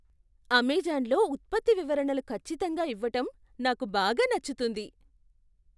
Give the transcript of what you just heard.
అమెజాన్లో ఉత్పత్తి వివరణలు ఖచ్చితంగా ఇవ్వటం నాకు బాగా నచ్చుతుంది.